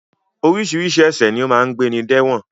Oríṣiríṣi ẹ̀ṣẹ̀ ni ó máa ń gbéni de ẹ̀wọ̀n